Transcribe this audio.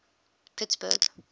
pittsburgh